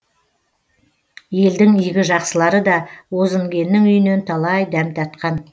елдің игі жақсылары да бозінгеннің үйінен талай дәм татқан